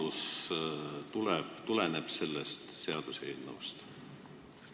Kas selline võimalus tuleneb sellest seaduseelnõust?